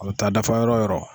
A bi taa dafa yɔrɔ yɔrɔ.